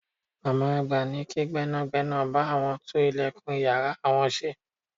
Màmá àgbà ní kí gbẹ́nàgbẹ́nà bá àwọn tún ìlẹ̀kùn ìyára àwọn ṣe.